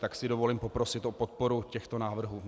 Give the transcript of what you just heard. Tak si dovolím poprosit o podporu těchto návrhů.